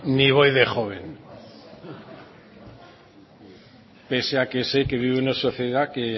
ni voy de joven pese a que sé que vivo en una sociedad que